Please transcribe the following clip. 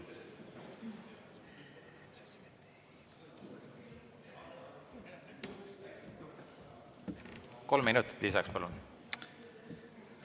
Kolm minutit lisaks, palun!